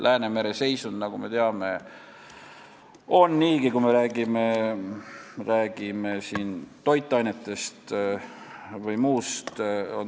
Läänemere seisund on, nagu me teame, teistsugune, kui me räägime toitainetest või muust.